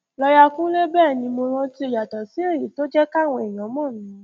lọọyà kúnlẹ bẹẹ ni mo rántíó yàtọ sí èyí tó jẹ káwọn èèyàn mọ mí